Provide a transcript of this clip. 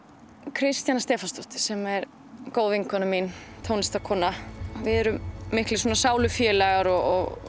Kristjana Stefánsdóttir sem er góð vinkona mín tónlistarkona við erum miklir sálufélagar og